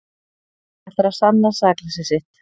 Ætlar að sanna sakleysi sitt